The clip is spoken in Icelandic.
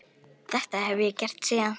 Þetta hef ég gert síðan.